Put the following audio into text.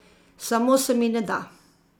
Samo se mi ne da.